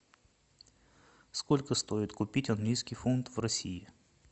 сколько стоит купить английский фунт в россии